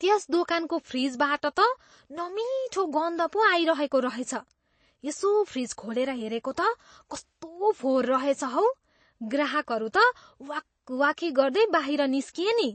त्यस दोकानको फ्रिजबाट त नमिठो गन्ध पो आइरहेको रहेछ। यसो फ्रिज खोलेर हेरेको त, कस्तो फोहोर रहेछ हौ। ग्राहकहरू त वाकवाकी गर्दै बाहिर निस्किए नि!